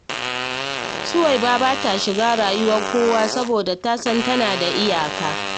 Suwaiba ba ta shiga rayuwar kowa, saboda ta san tana da iyaka